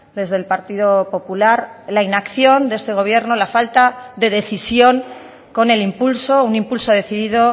desde el partido popular la inacción de este gobierno la falta de decisión con el impulso un impulso decidido